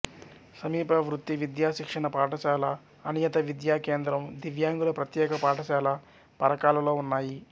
సమీప వృత్తి విద్యా శిక్షణ పాఠశాల అనియత విద్యా కేంద్రం దివ్యాంగుల ప్రత్యేక పాఠశాల పరకాలలో ఉన్నాయి